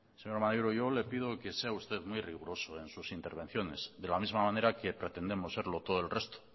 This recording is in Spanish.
señor maneiro yo le pido que sea usted muy riguroso en sus intervenciones de la misma manera que pretendemos serlo todo el resto